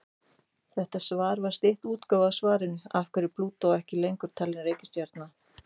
Þetta svar er stytt útgáfa af svarinu Af hverju er Plútó ekki lengur talin reikistjarna?